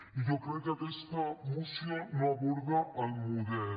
i jo crec que aquesta moció no aborda el model